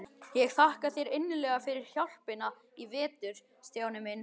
Ég þakka þér innilega fyrir hjálpina í vetur, Stjáni minn.